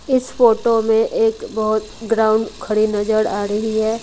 इस फोटो में एक बहुत ग्राउंड खड़ी नजर आ रही है।